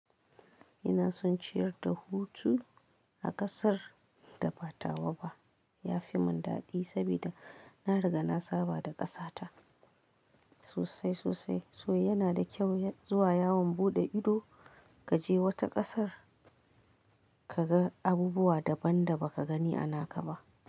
Ina son ciyar da hutu a ƙasar da ba tawa ba. Ya fi mun daɗi saboda na riga na saba da ƙasa ta sosai sosai. So yana da kyau zuwa yawon buɗe ido, kaje wata ƙasar kaga abubuwa daban da baka gani a naka ba.